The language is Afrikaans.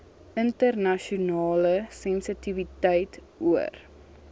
internasionale sensitiwiteit oor